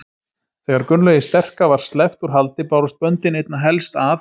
Þegar Gunnlaugi sterka var sleppt úr haldi bárust böndin einna helst að